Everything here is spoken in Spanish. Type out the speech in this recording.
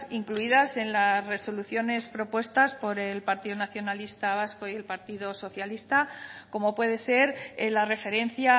incluidas en las resoluciones propuestas por el partido nacionalista vasco y el partido socialista como puede ser en la referencia